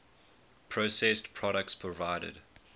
processed products provided